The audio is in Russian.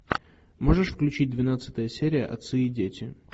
можешь включить двенадцатая серия отцы и дети